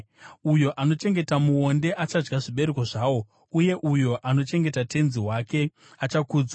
Uyo anochengeta muonde achadya zvibereko zvawo, uye uyo anochengeta tenzi wake achakudzwa.